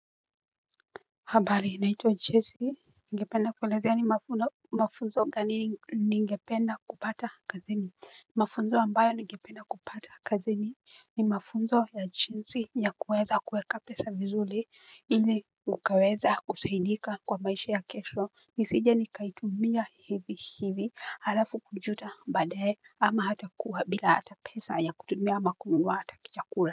Habari naitwa jesi ningependa kuelezea ni mafunzo gani ningependa kupata kazini mafunzo ambayo ningependa kupata kazini ni mafunzo ya jinsi ya kuweza kuweka pesa vizuri ili ukaweza kusaidika kwa maisha ya kesho nisije nikaitumia hivi hivi halafu kujuta baadae ama hata kuwa bila ata pesa ya kutumia ama hata ya kununua chakula.